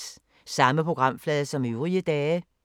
Samme programflade som øvrige dage